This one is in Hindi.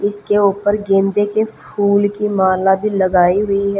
इसके ऊपर गेंदे के फूल की माला भी लगाई हुई है।